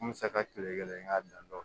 N bɛ se ka kelen kelen ka dan